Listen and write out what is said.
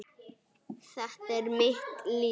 Þetta er mitt líf.